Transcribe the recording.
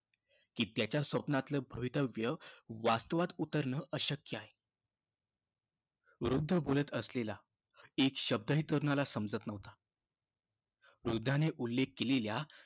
की त्याच्या स्वप्नातलं भवितव्य वास्तवात उतरणं अशक्य आहे. वृद्ध बोलत असलेला एक शब्दही तरुणाला समजत नव्हता. वृद्धाने उल्लेख केलेल्या